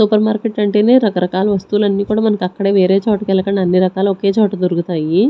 Super market అంటేనే రకరకాల వస్తువులన్నీ కూడా మనకి అక్కడే వేరే చోటకి వెళ్ళకండి అన్ని రకాలు ఒకే చోట దొరుకుతాయి.